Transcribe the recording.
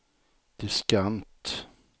diskant